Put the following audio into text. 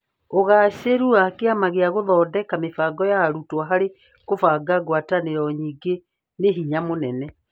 Ũgaacĩru wa Kĩama gĩa gũthondeka mĩbango ya arutwo harĩ kũbanga ngwatanĩro nyingĩ nĩ hinya mũnene.